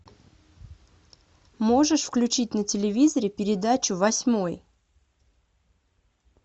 можешь включить на телевизоре передачу восьмой